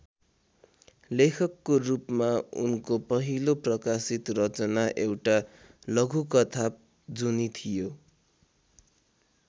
लेखकको रूपमा उनको पहिलो प्रकाशित रचना एउटा लघुकथा जुनि थियो।